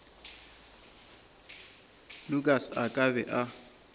lukas a ka be a